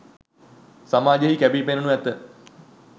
සමාජයෙහි කැපී පෙනෙනු ඇත